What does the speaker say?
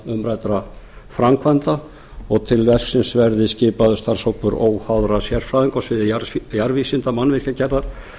umræddra framkvæmda og til verksins verði skipaður starfshópur óháðra sérfræðinga á sviði jarðvísinda mannvirkjagerðar